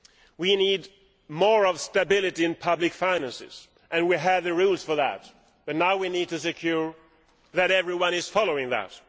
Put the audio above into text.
We need moral stability in public finances and we have the rules for that, but now we need to ensure that everyone is following that.